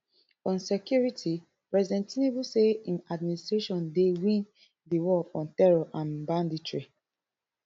on security president tinubu say im administration dey win di war on terror and banditry